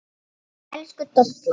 Elsku Dolla.